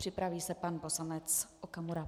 Připraví se pan poslanec Okamura.